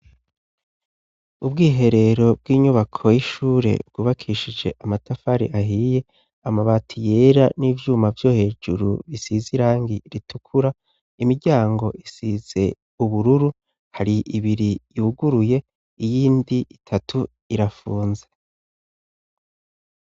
Ubwiherero bw'inyubako y'ishure bwubakishije amatafari ahiye, amabati yera n'ivyuma vyo hejuru bisize irangi ritukura, imiryango isize ubururu hari ibiri yuguruye iyindi itatu irafunze.